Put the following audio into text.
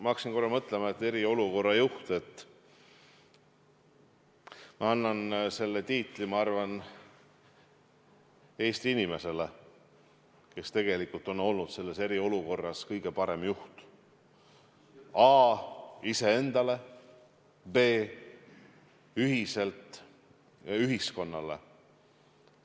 Ma hakkasin korra mõtlema, et selle tiitli "eriolukorra juht" ma annan, ma arvan, Eesti inimesele, kes tegelikult on olnud selles eriolukorras kõige parem juht a) iseendale, b) ühiselt ühiskonnale.